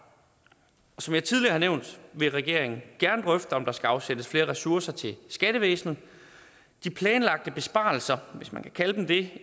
som jeg tidligere har nævnt vil regeringen gerne drøfte om der skal afsættes flere ressourcer til skattevæsenet de planlagte besparelser skat hvis man kan kalde dem det